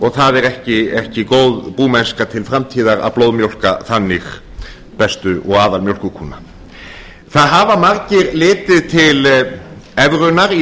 og það er ekki góð búmennska til framtíðar að blóðmjólka þannig bestu og aðalmjólkurkúna það hafa margir litið til evrunnar í